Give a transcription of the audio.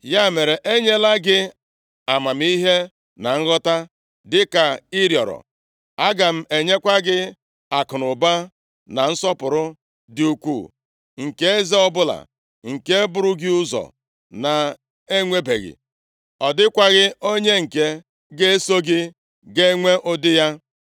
Ya mere, enyela gị amamihe na nghọta dịka ị rịọrọ. Aga m enyekwa gị akụnụba na nsọpụrụ dị ukwuu, nke eze ọbụla nke buru gị ụzọ na-enwebeghị. Ọ dịkwaghị onye nke ga-eso gị ga-enwe ụdị ya.”